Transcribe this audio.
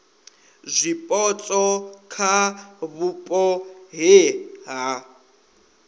zwipotso kha vhupo he ha